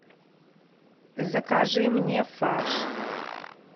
закажи мне фарш